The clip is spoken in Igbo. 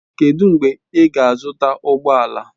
Kedụ mgbe ị ga-azụta ụgbọ ala?